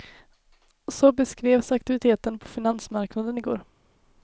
Så beskrevs aktiviteten på finansmarknaden igår.